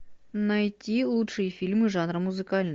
найти лучшие фильмы жанра музыкальный